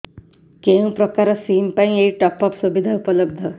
କେଉଁ ପ୍ରକାର ସିମ୍ ପାଇଁ ଏଇ ଟପ୍ଅପ୍ ସୁବିଧା ଉପଲବ୍ଧ